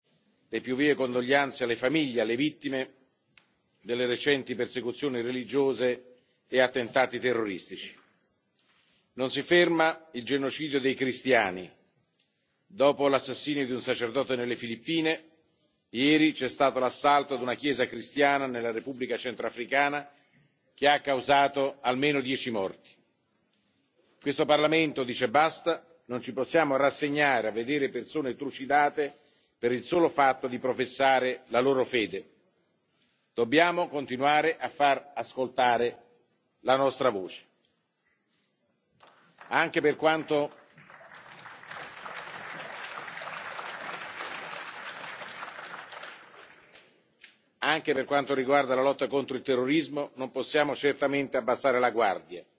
Prima di dare il via alla sessione plenaria, vorrei esprimere, a nome di questo Parlamento, le più vive condoglianze alle famiglie e alle vittime delle recenti persecuzioni religiose e attentati terroristici. Non si ferma il genocidio dei cristiani. Dopo l'assassinio di un sacerdote nelle Filippine, ieri c'è stato l'assalto a una chiesa cristiana nella Repubblica centrafricana, che ha causato almeno 10 morti. Questo Parlamento dice basta. Non ci possiamo rassegnare a vedere persone trucidate per il solo fatto di professare la loro fede. Dobbiamo continuare a far ascoltare la nostra voce. Anche per quanto riguarda la lotta contro il terrorismo, non possiamo certamente abbassare la guardia